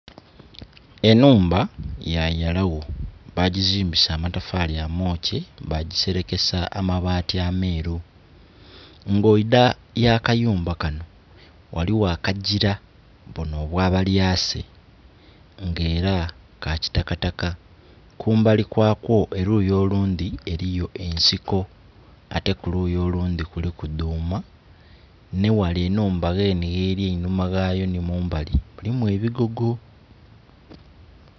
Enhumba ya yalagho, bagizimbisa amatafali amokye, bagiserekesa amabaati ameeru. Nga oidha ya akayumba kano, ghaligho akagira, buno obwa abalyase nga era ka kitakataka , kumbali kwako oluyi olundhi eriyo ensiko, ate kuluyi olundhi kuliku duuma, ni ghale ghenhe enhumba ghali eninuma ghaayo ni mumbali mulimu ebigogo.